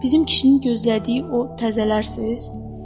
Bizim kişinin gözlədiyi o təzələrsiz?